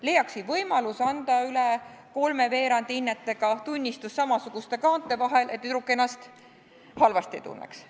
Leiaksin võimaluse anda üle kolme veerandi hinnetega tunnistus samasuguste kaante vahel, et tüdruk ennast halvasti ei tunneks.